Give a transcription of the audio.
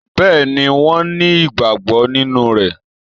Béeni wọ́n ni ìgbàgbọ́ nínú rẹ